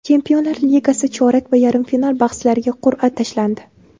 Chempionlar Ligasi chorak va yarim final bahslariga qur’a tashlandi.